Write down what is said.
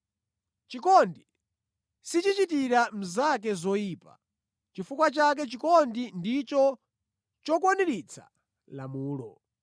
Chikondi sichichitira mnzake zoyipa. Chifukwa chake chikondi ndicho chokwaniritsa lamulo.